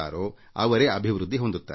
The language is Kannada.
ಯಾರು ಆಡುತ್ತಾರೋ ಅವರು ಅರಳುತ್ತಾರೆ